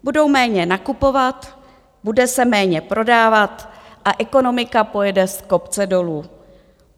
Budou méně nakupovat, bude se méně prodávat a ekonomika pojede z kopce dolů.